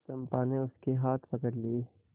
चंपा ने उसके हाथ पकड़ लिए